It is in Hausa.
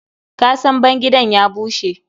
Ƙasan bangidan ya bushe.